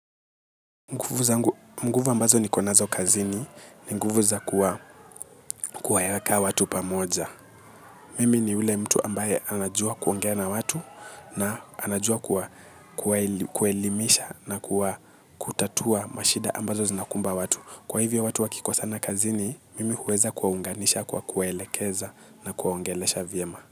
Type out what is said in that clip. Nguvu ambazo nikonazo kazini ni nguvu za kuwa kuwaweka watu pamoja. Mimi ni yule mtu ambaye anajua kuongea na watu na anajua kuwa kuwaelimisha na kutatua mashida ambazo zinakumba watu. Kwa hivyo watu wakikosana kazini, mimi huweza kuwaunganisha kwa kuwelekeza na kuwaongeleesha vyema.